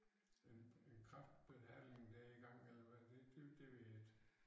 En en kræftbehandling der i gang eller hvad det det det ved jeg ikke